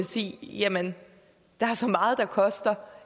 sige at jamen der er så meget der koster